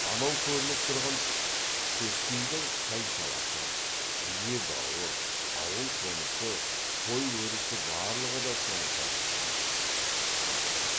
анау көрініп тұрған төскейдің сай саласы бие бауы ауыл қонысы қой өрісі барлығы да соншалық таныс жақын